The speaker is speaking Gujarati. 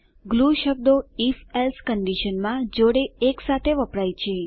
glue શબ્દો if એલ્સે કંડીશનમાં જોડે એકસાથે વપરાય છે